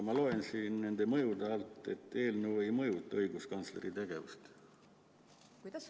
Ma loen mõjude alt, et eelnõu ei mõjuta õiguskantsleri tegevust.